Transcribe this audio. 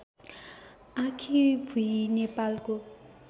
आँखीभुई नेपालको